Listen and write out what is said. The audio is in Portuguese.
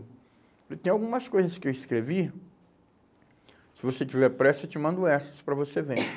tem algumas coisas que eu escrevi, se você tiver pressa, eu te mando essas para você ver.